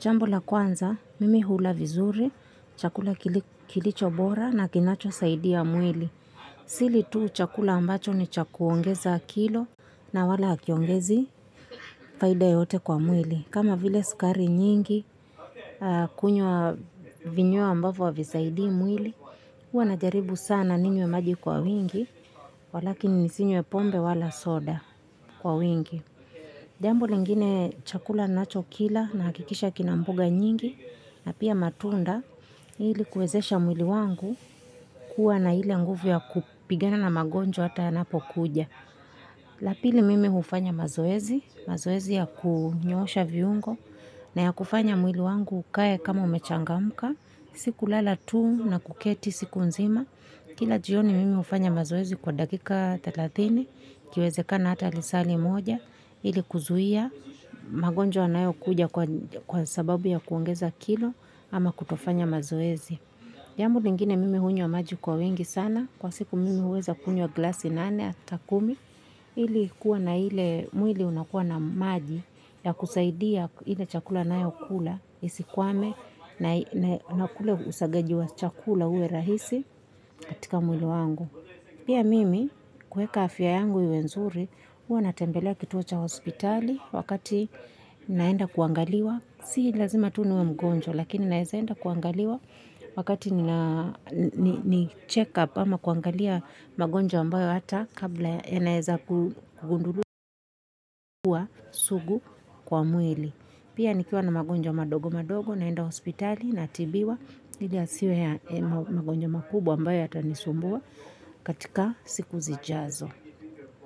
Jambo la kwanza, mimi hula vizuri, chakula kilicho bora na kinachosaidia mwili. Sili tu chakula ambacho ni cha kuongeza kilo na wala hakiongezi, faida yoyote kwa mwili. Kama vile sukari nyingi, kunywa vinywa ambavo havisaidi mwili. Huwa najaribu sana ninywe maji kwa wingi, walakin nisinywe pombe wala soda kwa wingi. Jambo lingine chakula nachokila nahakikisha kina mboga nyingi na pia matunda ili kuwezesha mwili wangu kuwa na ile nguvu ya kupigana na magonjwa hata yanapokuja. La pili mimi hufanya mazoezi, mazoezi ya kunyoosha viungo na ya kufanya mwili wangu ukae kama umechangamka. Si kulala tu na kuketi siku nzima. Kila jioni mimi hufanya mazoezi kwa dakika thelathini ikiwezekana hata lisaa limoja. Ili kuzuia magonjwa yanayokuja kwa sababu ya kuongeza kilo ama kutofanya mazoezi. Jambo lingine mimi hunywa maji kwa wingi sana. Kwa siku mimi huweza kunywa glasi nane hata kumi. Ili kuwa na ile mwili unakuwa na maji ya kusaidia ile chakula nayokula isikwame na kula usagaji wa chakula uwe rahisi katika mwili wangu. Pia mimi kueka afya yangu iwe nzuri huwa natembelea kituo cha hospitali wakati naenda kuangaliwa. Si lazima tu niwe mgonjwa lakini naeza enda kuangaliwa. Wakati ni check up ama kuangalia magonjwa ambayo hata kabla yanaeza kugunduliwa sugu kwa mwili. Pia nikiwa na magonjwa madogo madogo naenda hospitali natibiwa ili yasiwe ya magonjwa makubwa ambayo yatanisumbua katika siku zijazo.